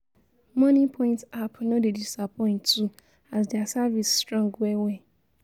moniepoint app no dey disappoint too as dia services strong well well